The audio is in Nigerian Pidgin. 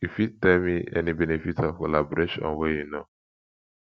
you fit tell me any benefits of collaboration wey you know